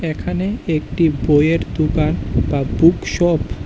এখানে একটি বইয়ের দুকান বা বুক শপ --